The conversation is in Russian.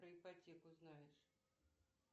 про ипотеку знаешь